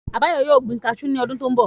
Àbáyọ̀mí yóò gbin kaasú ní ọdún tó n bọ̀